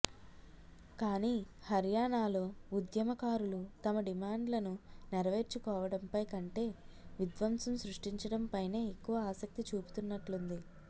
కానీ హర్యానాలో ఉద్యమకారులు తమ డిమాండ్లను నెరవేర్చుకోవడంపై కంటే విద్వంసం సృష్టించడంపైనే ఎక్కువ ఆసక్తి చూపుతున్నట్లుంది